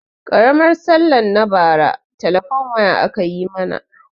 Karmar sallah na bara telefone waya aka yi mana